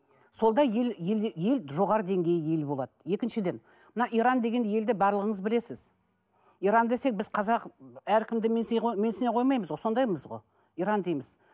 сонда ел елде ел жоғары деңгейде ел болады екіншіден мына иран деген елді барлығыңыз білесіз иран десек біз қазақ әркімді менсіне менсіне қоймаймыз ғой сондаймыз ғой иран дейміз